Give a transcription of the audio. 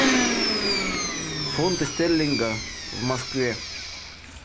фунты стерлинга в москве